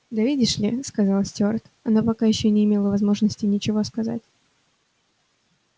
да видишь ли сказал стюарт она пока ещё не имела возможности ничего сказать